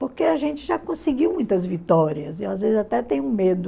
Porque a gente já conseguiu muitas vitórias, e às vezes até tem um medo,